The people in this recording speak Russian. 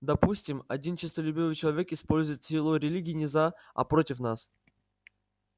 допустим один честолюбивый человек использует силу религии не за а против нас